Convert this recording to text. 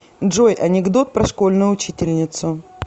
джой анекдот про школьную учительницу